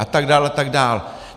A tak dál, a tak dál.